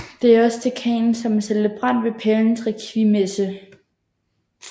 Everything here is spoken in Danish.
Det er også dekanen som er celebrant ved pavens rekviemmesse